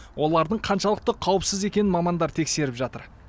олардың қаншалықты қауіпсіз екенін мамандар тексеріп жатыр